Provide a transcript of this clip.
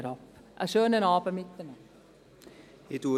Einen schönen Abend miteinander.